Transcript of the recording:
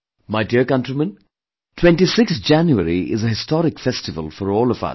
My dear countrymen, 26th January is a historic festival for all of us